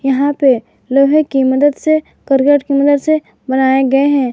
यहां पे लोहे की मदद से करकट की मदद से बनाए गए हैं।